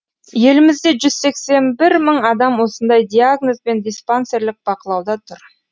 елімізде жүз сексен бір мың адам осындай диагнозбен диспансерлік бақылауда тұр